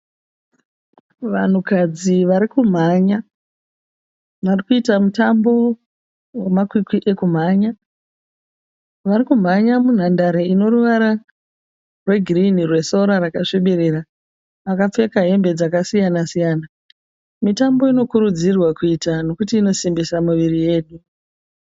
Vanhukadzi vari kumhanya. Vari kuita mutambo wemakwikwi ekumhanya. Vari kumhanya munhandare ino ruvara rwegirinhi rwesora rakasvibirira. Vakapfeka hembe dzakasiyana siyana. Mitambo inokurudzirwa nokuti inosimbisa miviri yedu.